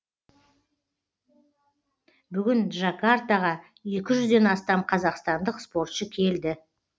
бүгін джакартаға екі жүзден астам қазақстандық спортшы келді